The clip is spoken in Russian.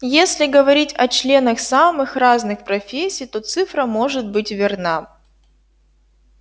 если говорить о членах самых разных профессий то цифра может быть верна